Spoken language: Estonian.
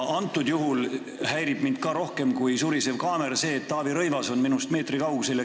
Praegusel juhul häirib mind rohkem kui surisev kaamera see, et Taavi Rõivas on minust meetri kaugusel.